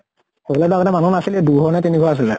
সেইফালে টো আগতে মানুহ নাছিলে, দুঘৰ নে তিনিঘৰ আছিলে।